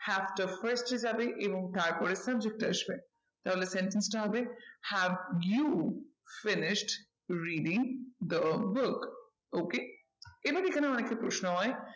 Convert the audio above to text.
Have টা first এ যাবে এবং তারপরে subject আসবে। তাহলে sentence টা হবে have you finished reading the book? okay এবার এখানে অনেকের প্রশ্ন হয়